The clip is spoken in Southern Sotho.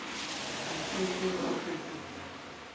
bo ke ke ba fetolwa